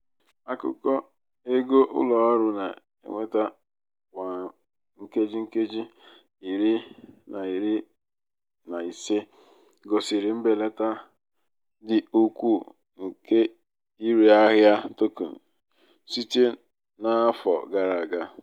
akụkọ ego ụlọ ọrụ na-enweta um kwa nkeji nkeji um iri na iri na ise gosiri mbelata dị ukwuu n'ịre ahịa token site n'afọ gara aga.